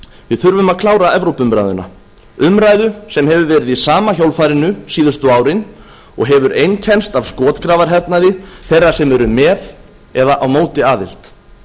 við þurfum að klára evrópuumræðuna umræðu sem hefur verið í sama hjólfarinu síðustu árin og hefur einkennst af skotgrafahernaði þeirra sem eru með eða á móti aðild